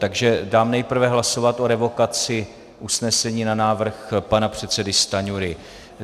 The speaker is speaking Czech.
Takže dám nejprve hlasovat o revokaci usnesení na návrh pana předsedy Stanjury.